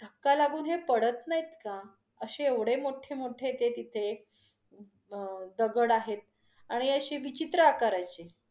धक्का लागून हे पडत नाहीत का? अशे एवढे मोठे-मोठे ते तिथे अं दगड आहे आणि अशी विचित्र आकाराचे.